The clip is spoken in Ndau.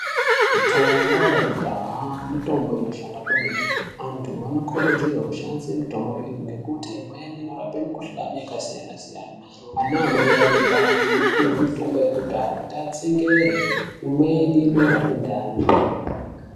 Mitombo yekudhaya mitombo inoshanda kwemene antu anokurudzirwa kushandisa mitombo iyi ngekuti imweni inorapa mikuhlani yakasiyana-siyana ana mai ane ndani anopuwa mitombo yekudhaya kuti atsungaire imweni inorapa ndani.